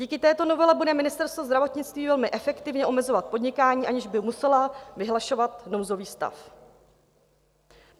Díky této novele bude Ministerstvo zdravotnictví velmi efektivně omezovat podnikání, aniž by muselo vyhlašovat nouzový stav.